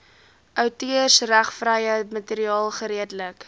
outeursregvrye materiaal geredelik